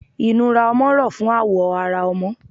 Inúrá ọmọ rọ fún awọ ará ọmọ